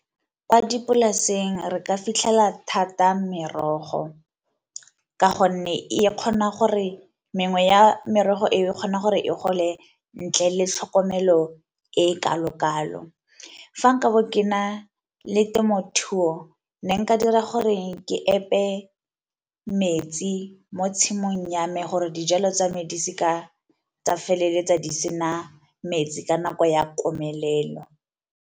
Kwa dipolaseng re ka fitlhela thata merogo, ka gonne e kgona gore mengwe ya merogo eo e kgona gore e gole ntle le tlhokomelo e e kalo-kalo. Fa nkabo ke na le temothuo ne nka dira gore ke epe metsi mo tshimong ya me gore dijalo tsa me di seka tsa feleletsa di sena metsi ka nako ya komelelo.